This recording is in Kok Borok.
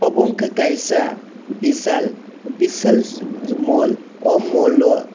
obo ungkha kaisa vishal vishal mall oh mall o.